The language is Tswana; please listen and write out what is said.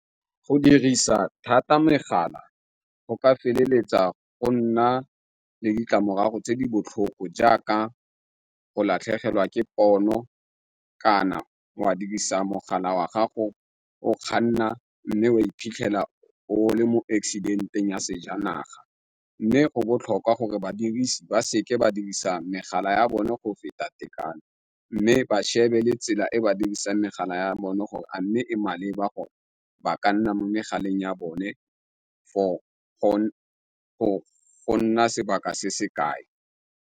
Go dirisa thata megala go ka feleletsa go nna le ditlamorago tse di botlhoko jaaka go latlhegelwa ke pono kana wa dirisa mogala wa gago o kganna mme o iphitlhela o le mo accident-eng ya sejanaga, mme go botlhokwa gore badirisi ba seke ba dirisa megala ya bone go feta tekano, mme ba shebele tsela e ba dirisa megala ya bone gore a mme e maleba go ba ka nna mo megaleng ya bone for go nna sebaka se se kae.